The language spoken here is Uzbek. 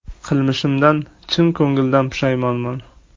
Qilmishimdan chin ko‘ngildan pushaymonman.